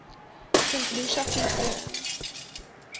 st lucia vuurtoring